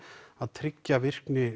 að tryggja virkni